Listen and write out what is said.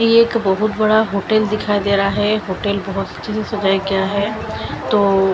ये एक बहोत बड़ा होटल दिखाई रहा है होटल क्या है तो--